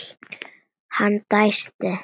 Hann dæsti.